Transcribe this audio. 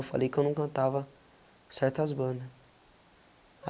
Eu falei que eu não cantava certas bandas.